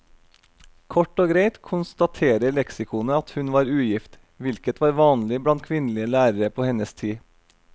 Kort og greit konstaterer leksikonet at hun var ugift, hvilket var vanlig blant kvinnelige lærere på hennes tid.